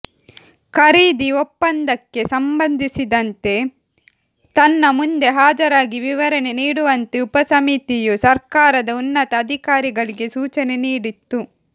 ಖರೀದಿ ಒಪ್ಪಂದಕ್ಕೆ ಸಂಬಂಧಿಸಿದಂತೆ ತನ್ನ ಮುಂದೆ ಹಾಜರಾಗಿ ವಿವರಣೆ ನೀಡುವಂತೆ ಉಪ ಸಮಿತಿಯು ಸರ್ಕಾರದ ಉನ್ನತ ಅಧಿಕಾರಿಗಳಿಗೆ ಸೂಚನೆ ನೀಡಿತ್ತು